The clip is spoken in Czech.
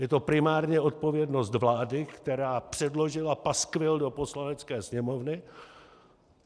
Je to primárně odpovědnost vlády, která předložila paskvil do Poslanecké sněmovny.